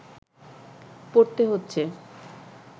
পড়তে হচ্ছে